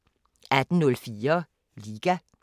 18:04: Liga